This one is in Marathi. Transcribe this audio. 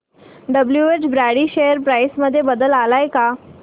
डब्ल्युएच ब्रॅडी शेअर प्राइस मध्ये बदल आलाय का